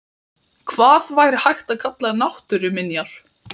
Hvað væri hægt að kalla náttúruminjar?